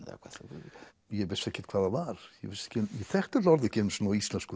eða hvað ég vissi ekkert hvað það var ég þekkti þetta orð ekki einu sinni á íslensku